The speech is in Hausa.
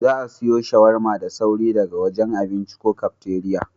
Za'a iya siwo shawarma da sauri daga wajen abinci ko kafteriya.